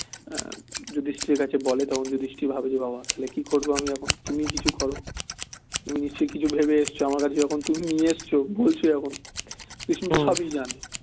যুধিষ্ঠির কাছে বলে তখন যুধিষ্ঠির ভাবে রে বাবা তা হলে কি করবো আমি এখন তুমিই কিছু করো তুমি নিশ্চই কিছু ভেবে এসছো আমার কাছে যখন তুমি নিয়ে এসছো বলেছো যখন কিছু জানে